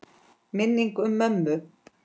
Minning um mömmu.